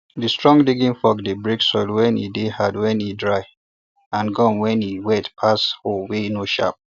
that strong digging fork dey break soil wey dey hard wen e dry and gum wen e wet pass hoe wey no sharp